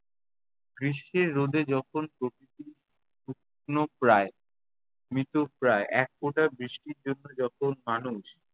গ্রীস্মের রোদে যখন প্রকৃতি শুকনো প্রায়, মৃত প্রায়, একফোঁটা বৃষ্টির জন্য যখন মানুষ-